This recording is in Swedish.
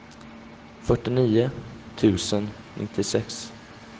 fyrtionio tusen nittiosex